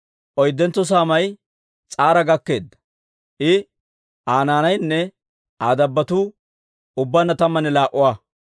Oyddentso saamay S'ara gakkeedda; I, Aa naanaynne Aa dabbotuu ubbaanna tammanne laa"a.